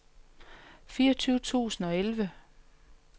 fireogtyve tusind og elleve